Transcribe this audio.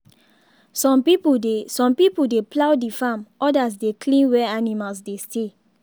some people dey some people dey plough the farm others dey clean where animals dey stay.